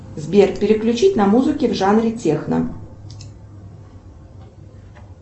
сбер переключить на музыки в жанре техно